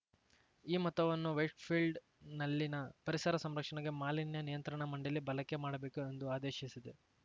ಈ ಮೊತ್ತವನ್ನು ವೈಟ್‌ಫೀಲ್ಡ್‌ನಲ್ಲಿನ ಪರಿಸರ ಸಂರಕ್ಷಣೆಗೆ ಮಾಲಿನ್ಯ ನಿಯಂತ್ರಣ ಮಂಡಳಿ ಬಳಕೆ ಮಾಡಬೇಕು ಎಂದು ಆದೇಶಿಸಿದೆ